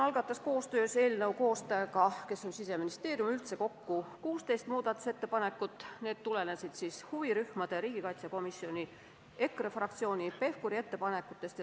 Koostöös eelnõu koostaja Siseministeeriumiga esitas õiguskomisjon kokku 16 muudatusettepanekut, need tulenesid huvirühmade, riigikaitsekomisjoni, EKRE fraktsiooni ja Hanno Pevkuri ettepanekutest.